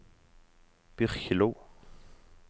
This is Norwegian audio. Byrkjelo